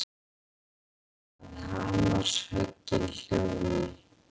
Að hamarshöggin hljóðni.